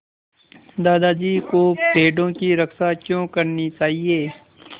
दादाजी को पेड़ों की रक्षा क्यों करनी चाहिए